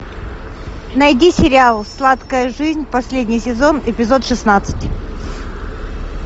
найди сериал сладкая жизнь последний сезон эпизод шестнадцать